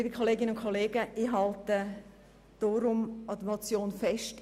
Ich halte deshalb an der Motion fest.